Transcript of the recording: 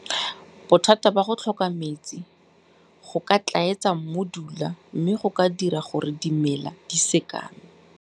Bothata ba go tlhoka metsi go ka tlaetsa mmudula mme go ka dira gore dimela di sekame.